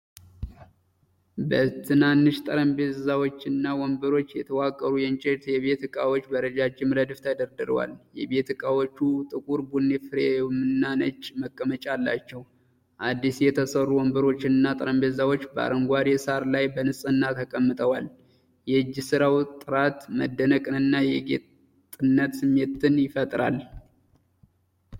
በትናንሽ ጠረጴዛዎችና ወንበሮች የተዋቀሩ የእንጨት የቤት ዕቃዎች በረጅም ረድፍ ተደርድረዋል። የቤት እቃዎቹ ጥቁር ቡኒ ፍሬምና ነጭ መቀመጫ አላቸው። አዲስ የተሰሩ ወንበሮችና ጠረጴዛዎች በአረንጓዴ ሳር ላይ በንጽህና ተቀምጠዋል። የእጅ ስራው ጥራት መደነቅንና የጌጥነት ስሜትን ይፈጥራል።